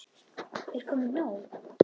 Er komið nóg?